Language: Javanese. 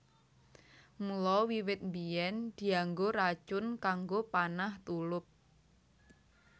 Mula wiwit biyèn dianggo racun kanggo panah tulup